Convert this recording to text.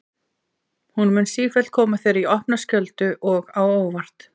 Hún mun sífellt koma þér í opna skjöldu og á óvart.